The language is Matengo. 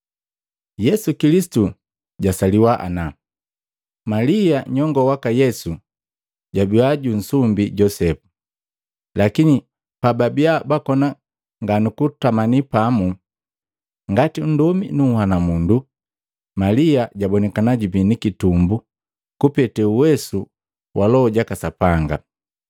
Yesu Kilisitu jwasaliwa ana, Malia nyongoo waka Yesu jwabia jusumbiki Josepu. Lakini pa babiya bakoni nganukutama pamu ngati nndomi nu nhwanumundu, Malia jabonikana jubii ni kitumbu kupete uwesu wa Loho jaka Sapanga.